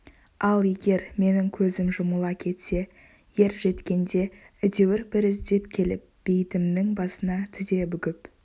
ал егер менің көзім жұмыла кетсе ер жеткенде әйтеуір бір іздеп келіп бейітімнің басына тізе бүгіп